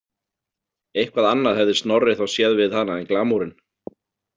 Eitthvað annað hefði Snorri þá séð við hana en glamúrinn.